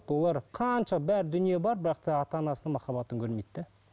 олар қанша бар дүние бар бірақ та ата анасының махаббатын көрмейді де